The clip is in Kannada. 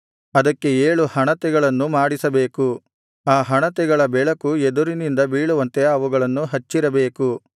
ಅದಕ್ಕೆ ಏಳು ಹಣತೆಗಳನ್ನು ಮಾಡಿಸಬೇಕು ಆ ಹಣತೆಗಳ ಬೆಳಕು ಎದುರಿನಿಂದ ಬೀಳುವಂತೆ ಅವುಗಳನ್ನು ಹಚ್ಚಿರಬೇಕು